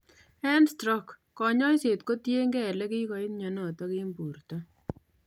En stroke, konyoiset kotiengei ele kikoit myonotok en borto